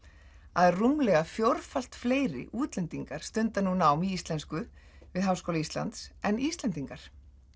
að rúmlega fjórfalt fleiri útlendingar stunda núna nám í íslensku við Háskóla Íslands en Íslendingar